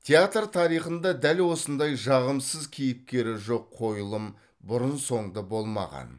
театр тарихында дәл осындай жағымсыз кейіпкері жоқ қойылым бұрын соңды болмаған